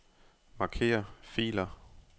Marker filer.